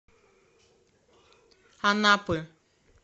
анапы